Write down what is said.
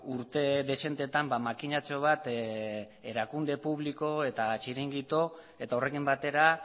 urte dezentetan makinatxo bat erakunde publiko eta txiringito eta horrekin batera